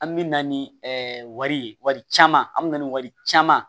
An bɛ na ni ɛɛ wari caman an bɛ na ni wari caman